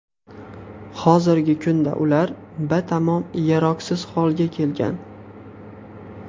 Hozirgi kunda ular batamom yaroqsiz holga kelgan.